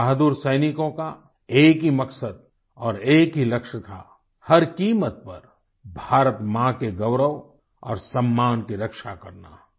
हमारे बहादुर सैनिकों का एक ही मकसद और एक ही लक्ष्य था हर कीमत पर भारत माँ के गौरव और सम्मान की रक्षा करना